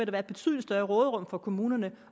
være et betydelig større råderum for kommunerne